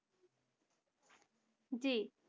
জি